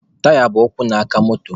Taya bụ ụkwụ na aka moto.